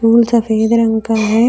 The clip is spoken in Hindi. फूल सफेद रंग का है।